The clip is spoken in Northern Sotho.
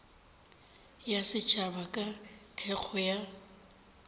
ya setšhaba ka thekgo ya